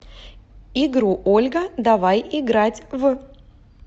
игру ольга давай играть в